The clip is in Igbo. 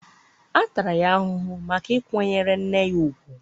a tara ya ahụhụ maka ịkwanyere nne ya ùgwù.